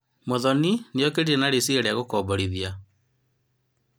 Muthoni niokire na riciria ria gukomborithia.